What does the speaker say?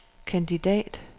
kandidat